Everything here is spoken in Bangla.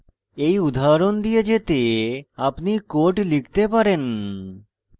you উদাহরণ দিয়ে যেতে আপনি code লিখতে পারেন